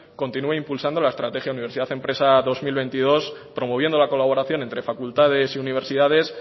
continúe impulsando la estrategia universidad empresa dos mil veintidós promoviendo la colaboración entre facultades y universidades